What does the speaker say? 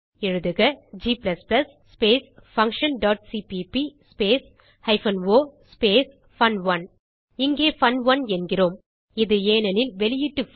எழுதுக g function dot CPP hyphen o பன்1 இங்கே பன்1 என்கிறோம் இது ஏனெனில் வெளியீட்டு பைல்